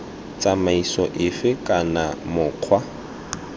b tsamaiso efe kana mokgwa